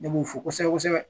Ne b'u fɔ kosɛbɛ kosɛbɛ.